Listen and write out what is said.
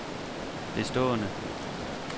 bestående